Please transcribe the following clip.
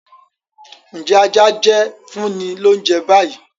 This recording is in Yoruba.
Njẹ aja jẹ? funni l'ounjẹ bayi.!